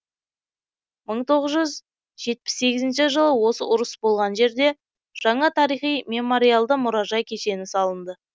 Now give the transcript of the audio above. мың тоғыз жүз жетпіс сегізінші жылы осы ұрыс болған жерде жаңа тарихи мемориалды мұражай кешені салынды